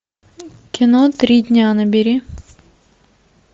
кино три дня набери